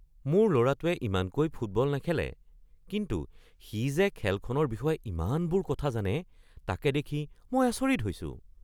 মোৰ ল’ৰাটোৱে ইমানকৈ ফুটবল নেখেলে কিন্তু সি যে খেলখনৰ বিষয়ে ইমানবোৰ কথা জানে তাকে দেখি মই আচৰিত হৈছোঁ।